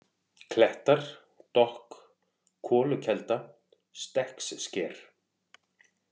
Klettar, Dokk, Kolukelda, Stekkssker